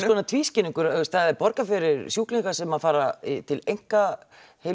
það er borgað fyrir sjúklinga sem að fara til einka